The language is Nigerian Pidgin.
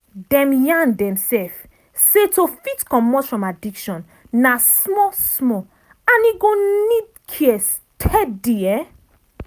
dem yarn demself say to fit comot from addiction na small small and e go need care steady.